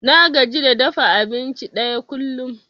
Na gaji da dafa abinci ɗaya kullum.